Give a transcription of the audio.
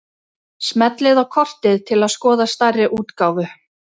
Smellið á kortið til að skoða stærri útgáfu.